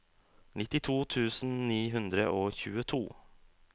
nittito tusen ni hundre og tjueto